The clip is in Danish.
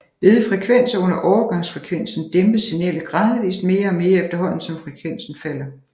Ved frekvenser under overgangsfrekvensen dæmpes signalet gradvist mere og mere efterhånden som frekvensen falder